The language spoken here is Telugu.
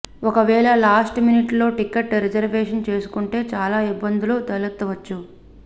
ఒకవేళ లాస్ట్ మినిట్ లో టికెట్ రిజర్వేషన్ చేసుకుంటే చాలా ఇబ్బందులు తలెత్తవచ్చు